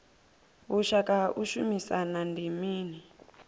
vhushaka ha u shumisana ndi mini